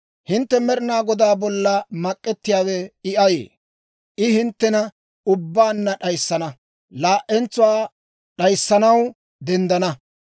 Hintte Med'inaa Godaa bolla mak'k'ettiyaawe I ayee? I hinttena ubbaanna d'ayissana; laa"entsuwaa d'ayissanaw denddenna.